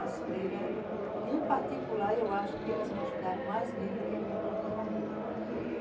As freiras, em particular, eu acho que elas me ajudaram mais mesmo do que a minha própria família.